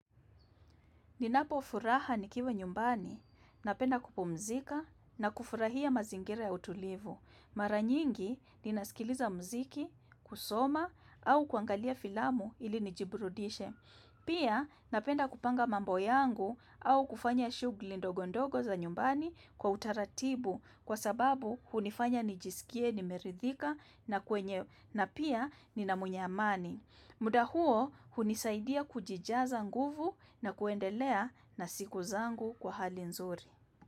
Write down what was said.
Ninapofuraha nikiwa nyumbani, napenda kupumzika na kufurahia mazingira ya utulivu. Mara nyingi, ninasikiliza muziki, kusoma, au kuangalia filamu ili nijiburudishe. Pia, napenda kupanga mambo yangu au kufanya shughuli ndogo ndogo za nyumbani kwa utaratibu kwa sababu hunifanya nijisikie nimeridhika na kwenye na pia nina mwenye amani. Muda huo hunisaidia kujijaza nguvu na kuendelea na siku zangu kwa hali nzuri.